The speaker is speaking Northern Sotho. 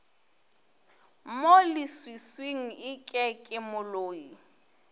mo leswiswing eke ke moloi